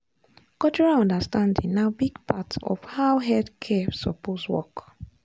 cultural understanding na big part of how health care suppose work.